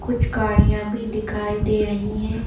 कुछ गाड़ियां भी दिखाई दे रही हैं।